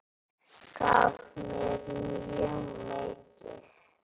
Gaf mér mjög mikið.